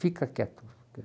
Fica quieto.